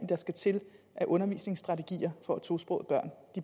der skal til af undervisningsstrategier for at tosprogede børn